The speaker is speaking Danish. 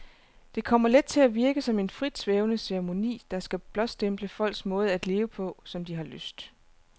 Det kommer let til at virke som en fritsvævende ceremoni, der skal blåstemple folks måde at leve på, som de har lyst.